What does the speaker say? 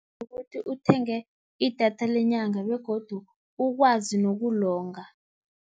Ukuthi uthenge idatha lenyanga begodu ukwazi nokulonga.